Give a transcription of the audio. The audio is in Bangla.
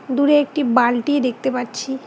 দূরে একটি বালটি দেখতে পাচ্ছি।